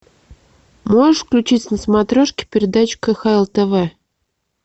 можешь включить на смотрешке передачу кхл тв